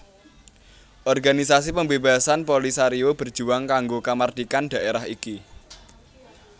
Organisasi pembebasan Polisario berjuang kanggo kamardikan dhaérah iki